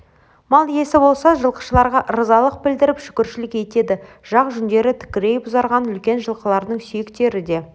мал иесі болса жылқышыларға ырзалық білдіріп шүкірлік етеді жақ жүндері тікірейіп ұзарған үлкен жылқылардың сүйектері де